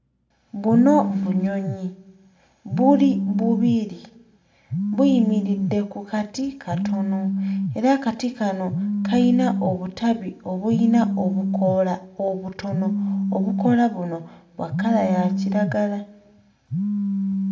Buno bunyonyi; buli bubiri, buyimiridde ku kati katono era akati kano kayina obutabi obuyina obukoola obutono. Obukoola buno bwa kkala ya kiragala.